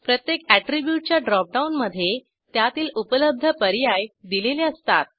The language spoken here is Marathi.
प्रत्येक अॅट्रीब्यूटच्या ड्रॉपडाऊनमधे त्यातील उपलब्ध पर्याय दिलेले असतात